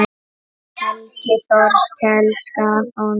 Helgi Þorkels gaf honum þau.